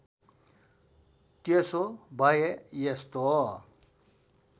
त्यसो भए यस्तो